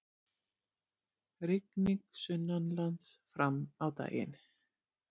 Rigning sunnanlands fram á daginn